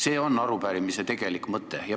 See on arupärimise tegelik mõte.